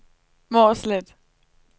Mårslet